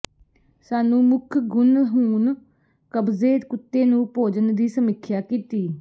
ਸਾਨੂੰ ਮੁੱਖ ਗੁਣ ਹੁਣ ਕਬਜ਼ੇ ਕੁੱਤੇ ਨੂੰ ਭੋਜਨ ਦੀ ਸਮੀਖਿਆ ਕੀਤੀ